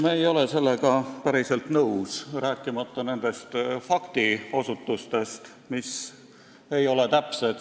Me ei ole sellega päriselt nõus, rääkimata nendest faktiosutustest, mis ei olnud täpsed.